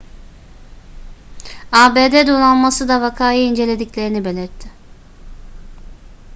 abd donanması da vakayı incelediklerini belirtti